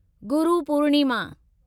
Guru Purnima